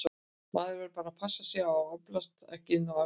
Maður varð bara að passa sig á að álpast ekki inn á æfingasvæðin.